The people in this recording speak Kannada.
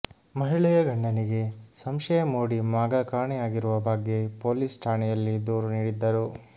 ಮಹಿಳೆಯ ಗಂಡನಿಗೆ ಸಂಶಯ ಮೂಡಿ ಮಗ ಕಾಣೆಯಾಗಿರುವ ಬಗ್ಗೆ ಪೊಲೀಸ್ ಠಾಣೆಯಲ್ಲಿ ದೂರು ನೀಡಿದ್ದರು